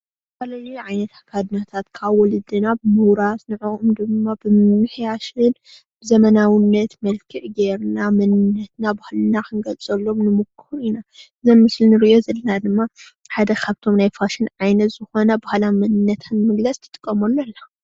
ዝተፈላለዩ ዓይነት ኣከዳድናታት ካብ ወለድና ብምውራስ ንዕኦም ድማ ብምምሕያሽን ዘመናውነት መልክዕ ገይርና መንነትና ባህልና ክንገልፀሎም ንሙክር ኢና እዚ ኣብ ምስሊ እንሪኦ ዘለና ድማ ሓደ ካብቶም ናይ ፋሽን ዓይነት ዝኾነ ባህላዊ መንነታ ንምግላፅ ትጥቀመሉ እዩ።